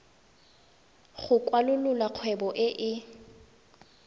go kwalolola kgwebo e e